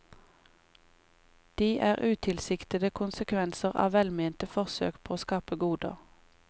De er utilsiktede konsekvenser av velmente forsøk på å skape goder.